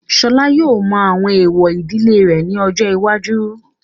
Ṣọlá yóò mọ àwọn èwọ̀ ìdílé rẹ̀ ní ọjọ́ iwájú.